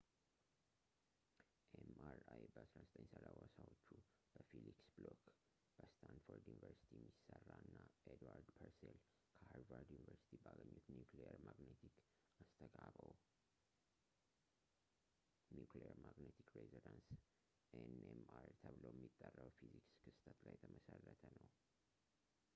ኤምአርአይ በ 1930ዎቹ በፊሊክስ ብሎክ በስታንፎርድ ዩኒቨርስቲ የሚሰራ እና ኤድዋርድ ፐርሴል ከሃርቫርድ ዩኒቨርሲቲ ባገኙት ኒኩሊየር ማግነቲክ አስተጋብኦ nuclear magnetic resonance nmr ተብሎ የሚጠራው የፊዚክስ ክስተት ላይ የተመሠረተ ነው